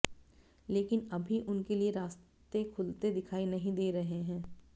लेकिन अभी उनके लिए रास्ते खुलते दिखाई नहीं दे रहे हैं